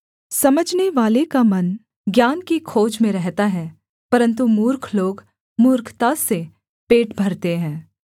समझनेवाले का मन ज्ञान की खोज में रहता है परन्तु मूर्ख लोग मूर्खता से पेट भरते हैं